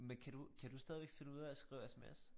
Men kan du kan du stadigvæk finde ud af at skrive sms?